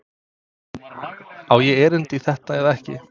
Á ég erindi í þetta eða ekki?